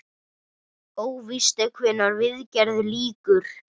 Óvíst er hvenær viðgerð lýkur.